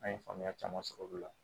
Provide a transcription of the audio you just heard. An ye faamuya caman sɔrɔ olu la